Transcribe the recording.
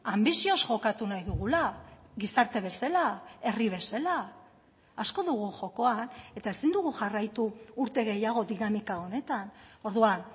anbizioz jokatu nahi dugula gizarte bezala herri bezala asko dugu jokoan eta ezin dugu jarraitu urte gehiago dinamika honetan orduan